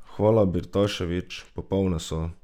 Hvala, Birtašević, popolne so!